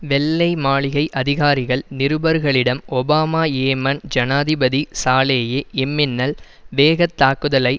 வெள்ளை மாளிகை அதிகாரிகள் நிருபர்களிடம் ஒபாமா யேமன் ஜனாதிபதி சாலேயே இம்மின்னல் வேகத் தாக்குதலை